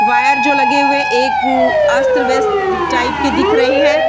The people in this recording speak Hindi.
वायर जो लगे हुए है एक अस्त-व्यस्त टाइप के दिख रहे है।